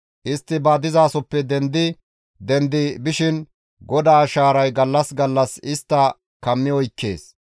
Istti ba dizasoppe dendi dendi bishin GODAA shaaray gallas gallas istta kammi oykkees.